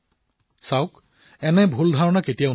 চাওক এই ভুল ধাৰণাৰ বশৱৰ্তী কেতিয়াও নহব